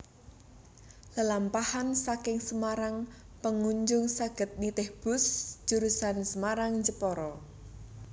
Lelampahan saking Semarang pengunjung saged nitih bus jurusan Semarang Jepara